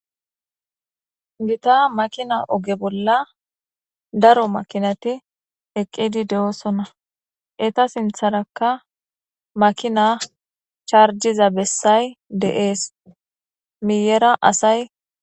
Gita makina oge bola daro makinati eqidi de'osona eta sintanka makina chargida besa de'es guyera asay.